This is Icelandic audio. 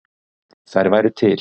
Þær væru til.